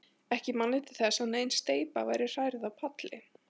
Ekki man ég til þess, að nein steypa væri hrærð á palli.